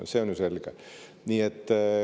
See on ju selge.